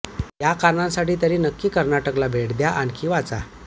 या कारणांसाठी तरी नक्की कर्नाटकाला भेट द्या आणखी वाचा